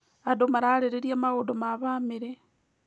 Andũ mararĩrĩria maũndũ ma bamĩrĩ.